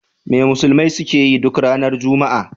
Me musulmai suke yi duk ranar Juma'a?